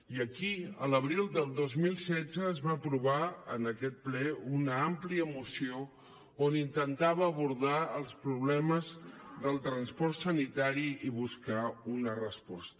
i aquí a l’abril del dos mil setze es va aprovar en aquest ple una àmplia moció on intentava abordar els problemes del transport sanitari i buscar una resposta